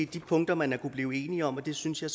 de punkter man har kunnet blive enige om og det synes jeg